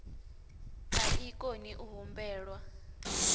a i koni u humbelwa